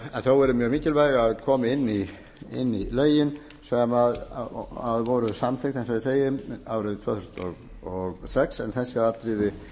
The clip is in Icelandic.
en þó eru mjög mikilvæg að komi inn í lögin sem voru samþykkt eins á eg segi árið tvö þúsund og sex en eþssi atriði